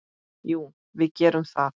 Jú, við gerum það.